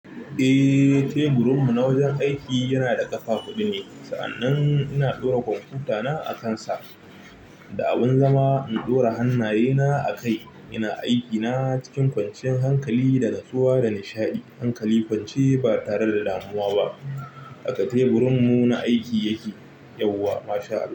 Eh, teburin mu na wajen aiki yana da ƙafa huɗu ne. Sa'annan muna ɗora komfutana akan sa, da abun zama in ɗora hannaye na akai. Ina aiki na cikin kwancinyan hankali da natsuwa da nishaɗi. Hankali kwance ba tare da damuwa ba. A ka teburin mu na aiki yake yauwa masha' Allah.